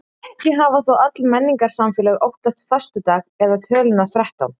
Ekki hafa þó öll menningarsamfélög óttast föstudag eða töluna þrettán.